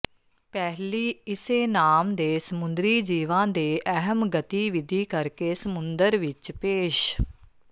ਪਹਿਲੀ ਇਸੇ ਨਾਮ ਦੇ ਸਮੁੰਦਰੀ ਜੀਵਾ ਦੇ ਅਹਿਮ ਗਤੀਵਿਧੀ ਕਰਕੇ ਸਮੁੰਦਰ ਵਿੱਚ ਪੇਸ਼